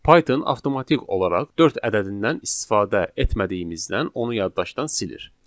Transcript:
Python avtomatik olaraq dörd ədədindən istifadə etmədiyimizdən onu yaddaşdan silir.